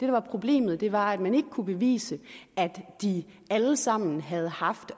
var problemet var at man ikke kunne bevise at de alle sammen havde haft